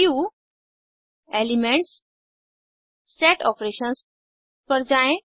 व्यूग्ट एलिमेंट्सगट set operations पर जाएँ